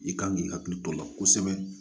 I kan k'i hakili to o la kosɛbɛ